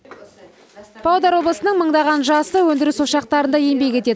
павлодар облысының мыңдаған жасы өндіріс ошақтарында еңбек етеді